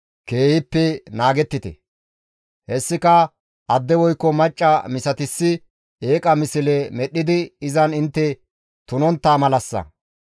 Hessika adde woykko macca misatissi eeqa misle medhdhidi izan intte tunontta malassa.